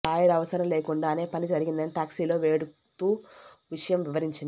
lawyer అవసరం లేకుండానే పని జరిగిందని టాక్సీలో వెడుతూ విషయం వివరించింది